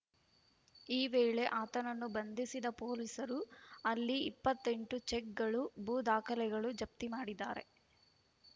ಈ ವೇಳೆ ಆತನನ್ನು ಬಂಧಿಸಿದ ಪೊಲೀಸರು ಅಲ್ಲಿ ಇಪ್ಪತ್ತೆಂಟು ಚೆಕ್‌ಗಳು ಭೂ ದಾಖಲೆಗಳು ಜಪ್ತಿ ಮಾಡಿದ್ದಾರೆ